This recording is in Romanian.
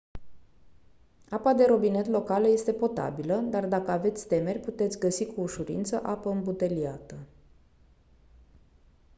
apa de robinet locală este potabilă dar dacă aveți temeri puteți găsi cu ușurință apă îmbuteliată